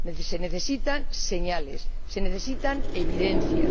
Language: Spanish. Se necesitan señales, se necesitan evidencias.